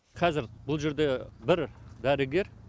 қазір бұл жерде бір дәрігер